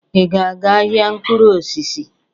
Ị ga-aga ahịa mkpụrụ osisi?